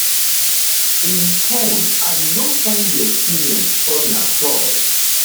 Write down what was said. im fone and e e no find di experience funny at all